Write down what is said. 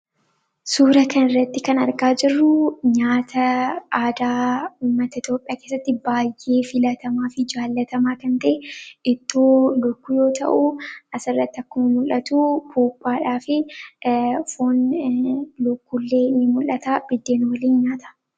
Suuraa kanarratti kan argaa jirru nyaata aadaa uummata Itoophiyaa biratti baay'ee filatamaa fi jaallatamaa ta'e, ittoo yoo ta'u, akkuma mul'atu buuphaa fi foon lukkuullee ni mul'ata buddeen waliin nyaatama.